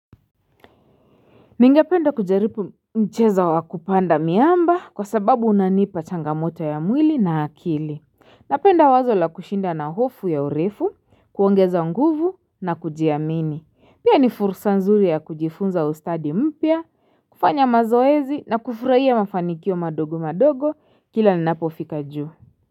Ningependa kujaribu mchezo wa kupanda miamba kwa sababu unanipa changamoto ya mwili na akili Napenda wazo la kushinda na hofu ya urefu kuongeza nguvu na kujiamini pia ni fursa nzuri ya kujifunza ustadi mpya kufanya mazoezi na kufurahia mafanikio madogo madogo Kila ninapo fika juu.